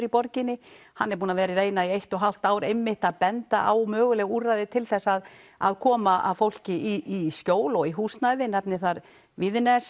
í borginni hann er búinn að vera að reyna í eitt og hálft ár að benda á möguleg úrræði til þess að að koma fólki í skjól og í húsnæði nefni þar Víðines